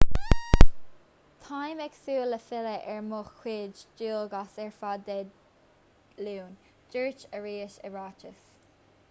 táim ag súil le filleadh ar mo chuid dualgas ar fad dé luain dúirt arias i ráiteas